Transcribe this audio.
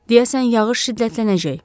Deyəsən yağış şiddətlənəcək.